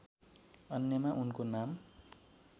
अन्यमा उनको नाम